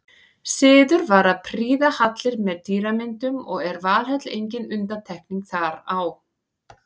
Siður var að prýða hallir með dýramyndum og er Valhöll engin undantekning þar á.